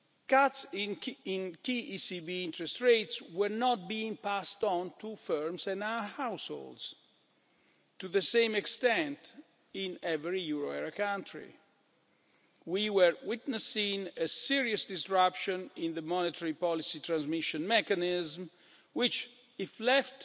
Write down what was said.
Cuts in key ECB interest rates were not being passed on to firms and households to the same extent in every euro area country. We were witnessing a serious disruption in the monetary policy transmission mechanism which, if left